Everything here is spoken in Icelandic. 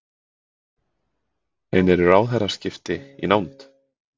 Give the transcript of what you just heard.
En eru ráðherraskipti í nánd?